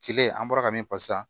Kile an bɔra ka min fɔ sisan